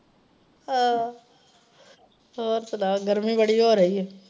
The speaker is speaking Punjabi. ਅਹ ਹੋਰ ਸੁਣਾਓ ਗਰਮੀ ਬੜੀ ਹੋ ਰਹੀ ਏ।